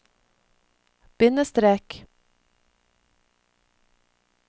bindestrek